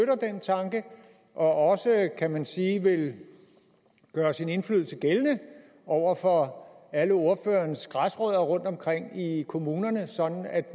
tanke og også kan man sige vil gøre sin indflydelse gældende over for alle ordførerens græsrødder rundtomkring i kommunerne sådan at